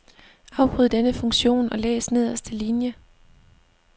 Afbryd denne funktion og læs nederste linie.